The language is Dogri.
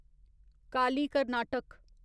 काली कर्नाटक